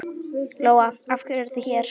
Lóa: Af hverju eruð þið hér?